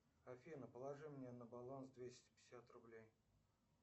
афина положи мне на баланс двести пятьдесят рублей